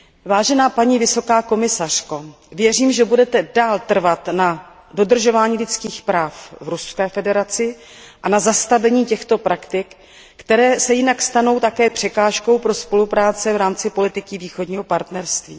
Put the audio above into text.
Vážená paní vysoká představitelko, věřím, že budete dál trvat na dodržování lidských práv v Ruské federaci a na zastavení těchto praktik, které se jinak stanou také překážkou pro spolupráci v rámci politiky Východního partnerství.